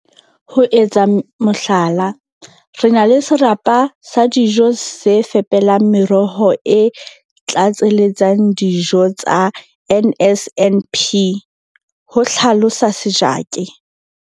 Ho etsa mohlala, re na le serapa sa dijo se fepelang meroho e tlatseletsang dio tsa NSNP, ho hlalosa Sejake.